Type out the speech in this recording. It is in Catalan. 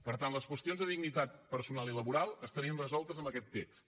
per tant les qüestions de dignitat personal i laboral estarien resoltes amb aquest text